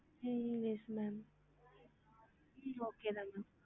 ஹம் yes ma'am hmm okay தா ma'am